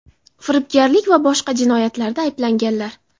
firibgarlik va boshqa jinoyatlarda ayblanganlar.